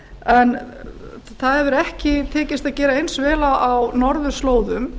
en það hefur ekki tekist að gera eins vel á norðurslóðum